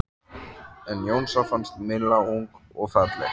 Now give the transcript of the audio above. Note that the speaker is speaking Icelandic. En Jónsa fannst Milla ung og falleg.